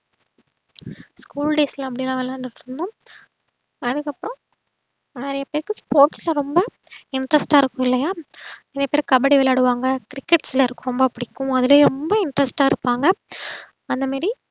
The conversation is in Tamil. school days ல அப்டிலாம் விளையாண்டுட்டு இருந்தோம் அதுக்கப்றோம் நறைய பேர்க்கு sports ல வந்தா interest ஆ இருகும்லையா நறைய பேர் கபடி விளையாடுவாங்க crickets ல ரொம்ப புடிக்கும் அதுலயே ரொம்ப interest ஆ இருப்பாங்க அந்தமாறி